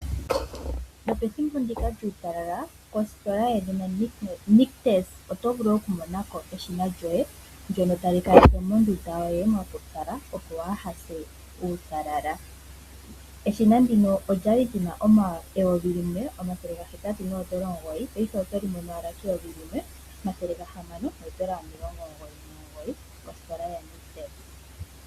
Nopethimbo ndika lyuutalala kositola yedhina Nictus oto vulu okumona ko eshina lyoye ndyono tali kaleke mondunda yoye mwa pupyala, opo waa ha se uutalala. Eshina ndika olya li li na N$ 1 809, paife oto li mono owala N$ 1 699.